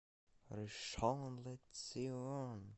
ришон ле цион